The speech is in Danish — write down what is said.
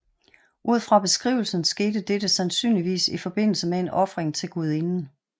Ud fra beskrivelsen skete dette sandsynligvis i forbindelse med en ofring til guidinden